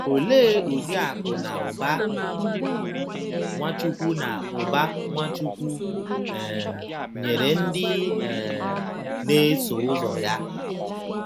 Olee ụdị akụ̀ na ụba Nwachukwu na ụba Nwachukwu um nyere ndị um na-eso ụzọ ya?